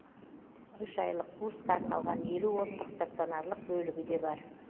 үш айлық курсқа арналған елу орындық станционарлық бөлігі де бар